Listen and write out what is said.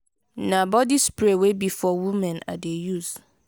na body spray wey be for women i dey use.